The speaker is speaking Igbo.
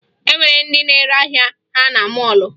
E nwere ndị na-ere ahịa ha na mọọlụ